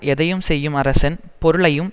எதையும் செய்யும் அரசன் பொருளையும்